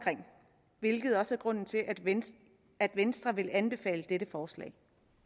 hvilket også er grunden til at venstre at venstre vil anbefale dette forslag